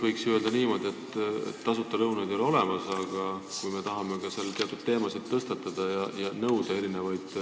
Võiks ju öelda, et tasuta lõunaid ei ole olemas ning kui me tahame seal teatud teemasid tõstatada ja nõuda erinevaid